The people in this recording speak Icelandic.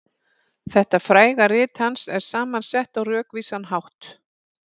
Þetta fræga rit hans er saman sett á rökvísan hátt.